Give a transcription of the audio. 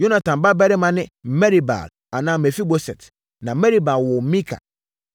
Yonatan babarima ne: Merib-Baal (anaa Mefiboset) na Merib-Baal woo Mika.